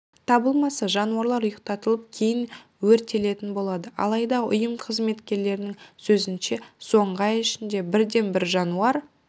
табылмаса жануарлар ұйықтатылып кейін өртелетін болады алайда ұйым қызметшілерінің сөзінше соңғы ай ішінде бірде-бір жануар